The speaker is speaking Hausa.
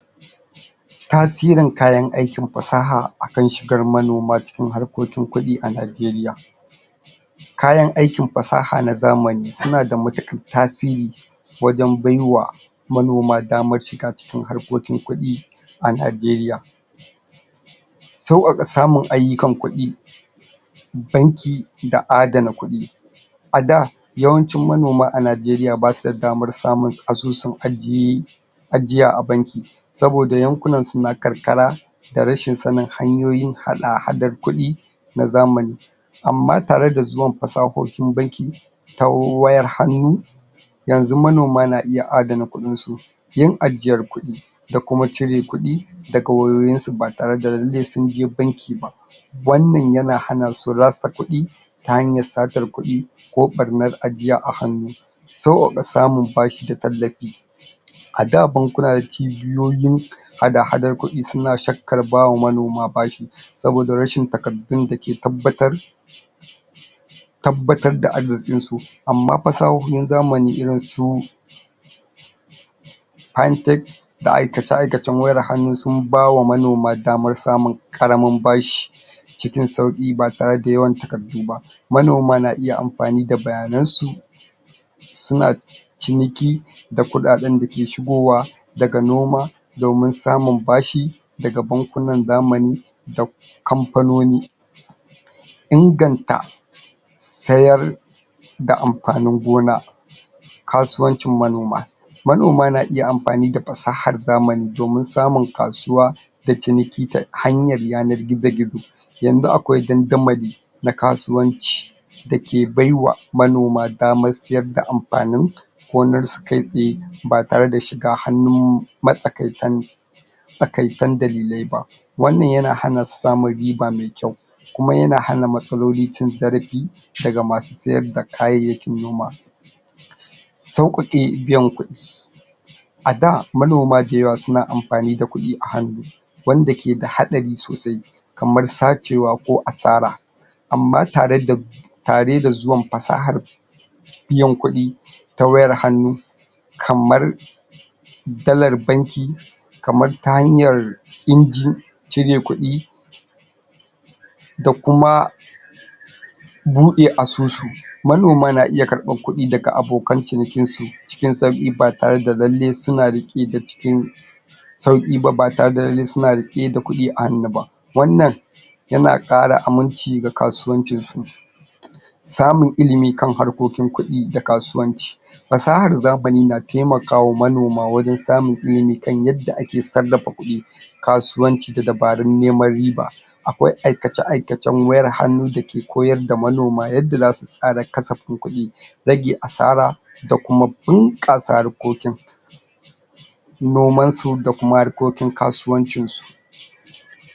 Tasirin kayan aikin fasaha akan shigar manoma cikin harkokin kuɗi a Nigeria. Kayan aikin fasaha na zamani su na da matuƙar tasiri wajen bai wa manoma damar shiga cikin harkokin kuɗi a Nigeria, sauƙaƙa samun ayyukan kuɗi, banki da adana kuɗi, a da yawancin manoma a Nigeria ba su da damar samun asusun ajiye ajiya a banki, saboda yankunansu na karkara, da rashin sanin hanyoyin hada-hadar kuɗi na zamani, amma tare da zuwan fasahohin banki ta wayar hannu, yanzu manoma na iya adana kuɗinsu, yin ajiyar kuɗi da kuma cire kuɗi daga wayoyinsu ba tare da lalle sunje banki ba, wannan ya na hana su rasa kuɗi ta hanyar satar kuɗi ko ɓarnar ajiya a hannu, sauƙaƙa samun bashi i da tallafi, a da bankuna da cibiyoyin hada-hadar kuɗi su na shakkar ba wa manoma bashi, saboda rashin takardun da ke tabbatar tabbatar da arziƙinsu, amma fasahohin zamani irin su handtake da aikace-aikacen wayar hannu sun ba wa manoma damar samun ƙaramin bashi, cikin sauƙi ba tare da yawan takardu ba. Manoma na iya amfani da bayanansu su na ciniki da kuɗaɗen da ke shigowa daga noma domin samun bashi daga bankunan zamani da kamfanonin inganta sayar da amfanin gona. Kasuwancin manoma. Manoma na iya amfani da fasahar zamani domin samun kasuwa da ciniki ta hanyar yanar gizo-gizo, yanzu akwai dandamali na kasuwanci da ke bai wa manoma damar sayar da amfanin gonarsu kai tsaye ba tare da shiga hannun matsakaitan matsaikatan dalilai ba wannan ya na hana su damar samun riba mai kyau, kuma ya na hana matsaloli cin zarafi daga masu sayar da kayayyakin noma, sauƙaƙe biyan kuɗi, a da manoma da yawa su na amfani da kuɗi a hannu wanda ke da haɗari sosai, kamar sacewa ko asara, amma ta re da ta re da zuwan fasahar biyan kuɗi ta wayar hannu kamar: dalar banki, kamar ta hanyar injin cire kuɗi da kuma buɗe asusu manoma na iya karɓar kuɗi daga abokan cinikinsu cikin sauƙi ba tare da lalle su na da ƙidar cikin sauƙi ba ba tare da lalle su na riƙe da kuɗi a hannu ba wannan ya na ƙara aminci ga kasuwancinsu.? Samun ilimi kan harkokin kuɗi da kasuwanci Fasahar zamani na taimaka wa manoma wajen samun ilimi kan yadda ake sarrafa kuɗi, kasuwanci da dabarun neman riba, akwai aikace-aikacen wayar hannu da ke koyarda manoma yadda za su tsara kasafin kuɗi, rage asara da kuma bunƙasa harkokin nomansu da kuma harkokin kasuwancinsu.